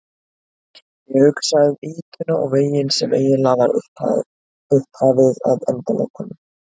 Ég hugsa um ýtuna og veginn sem eiginlega var upphafið að endalokunum.